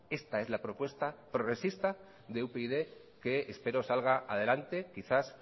esta es la propuesta progresista de upyd que espero salga adelante quizás